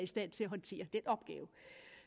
stand til at håndtere